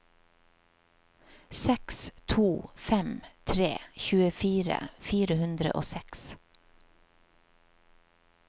seks to fem tre tjuefire fire hundre og seks